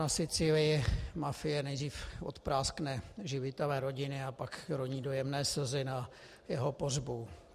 Na Sicílii mafie nejdřív odpráskne živitele rodiny, a pak roní dojemné slzy na jeho pohřbu.